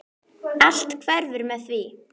HÁRIÐ argir ýmsir reyta.